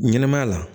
Ɲɛnɛmaya la